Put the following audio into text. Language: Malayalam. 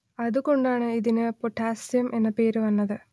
അതു കൊണ്ടാണ് ഇതിന് പൊട്ടാസ്യം എന്ന പേര് വന്നത്